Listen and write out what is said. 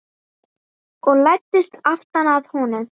Og læddist aftan að honum.